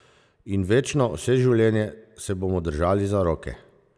In večno, vse življenje se bomo držali za roke!